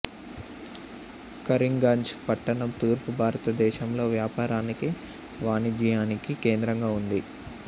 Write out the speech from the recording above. కరీంగంజ్ పట్టణం తూర్పు భారతదేశంలో వ్యాపారానికి వాణిజ్యానికి కేంద్రంగా ఉంది